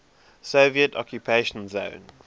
soviet occupation zone